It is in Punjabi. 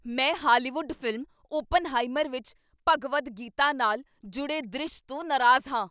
ਮੈਂ ਹਾਲੀਵੁੱਡ ਫ਼ਿਲਮ 'ਓਪਨਹਾਈਮਰ' ਵਿੱਚ ਭਗਵਦ ਗੀਤਾ ਨਾਲ ਜੁੜੇ ਦ੍ਰਿਸ਼ ਤੋਂ ਨਾਰਾਜ਼ ਹਾਂ।